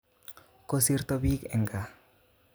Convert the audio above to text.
Kosirto biik eng gaa